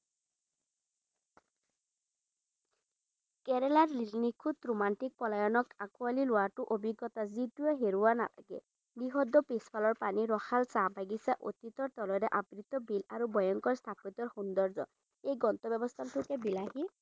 কেৰেলাক নিখুঁত ৰোমান্টিক পলায়নক আঁকোৱালি লোৱাটো অভিজ্ঞতা যিটোৱে হেৰুৱা নাথাকে। বৃহৎ পিছফালৰ পানী, ৰসাল চাহ বাগিছা, অতীতৰ তলেৰে আবৃত বিল, আৰু ভয়ঙ্কৰ স্থাপত্যৰ সৌন্দৰ্য্য এই গন্তব্যস্থানটোক বিলাসী